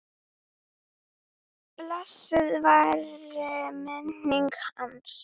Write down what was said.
Blessuð veri minning hans.